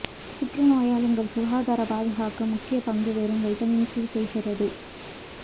புற்று நோயால் எங்கள் சுகாதார பாதுகாக்க முக்கிய பங்கு வெறும் வைட்டமின் சி செய்கிறது